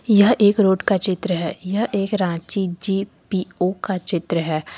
यह एक रोड का चित्र है यह एक रांची जी_पी_ओ का चित्र है।